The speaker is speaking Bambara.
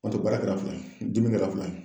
N'o tɛ baara kɛra fila ye, dimi kɛra fila ye.